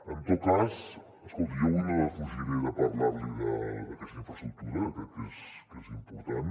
en tot cas escolti jo avui no defugiré de parlar li d’aquesta infraestructura crec que és important